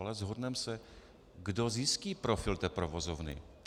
Ale shodneme se - kdo zjistí profil té provozovny?